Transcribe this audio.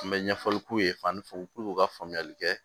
Mɛ ɲɛfɔli k'u ye fani fuw puruke u ka faamuyali kɛ